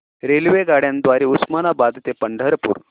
रेल्वेगाड्यां द्वारे उस्मानाबाद ते पंढरपूर